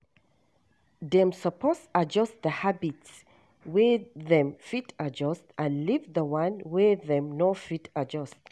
Dem suppose adjust the habits wey them fit adjust and leave the one wey them no fit adjust